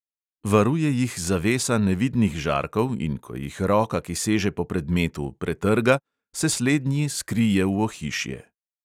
Varuje jih zavesa nevidnih žarkov in ko jih roka, ki seže po predmetu, pretrga, se slednji skrije v ohišje.